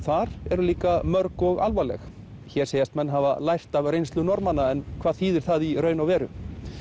þar eru líka mörg og alvarleg hér segjast menn hafa lært af reynslu Norðmanna en hvað þýðir það í raun og veru